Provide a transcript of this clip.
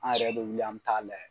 An yɛrɛ bɛ wuli an bɛ taa layɛ.